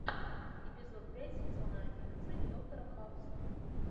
эпизод пять сезона одиннадцать доктора хауса